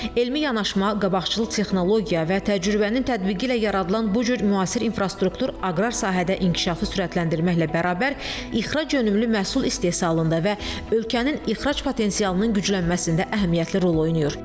Elmi yanaşma, qabaqcıl texnologiya və təcrübənin tətbiqi ilə yaradılan bu cür müasir infrastruktur aqrar sahədə inkişafı sürətləndirməklə bərabər ixrac yönümlü məhsul istehsalında və ölkənin ixrac potensialının güclənməsində əhəmiyyətli rol oynayır.